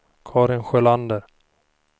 Karin Sjölander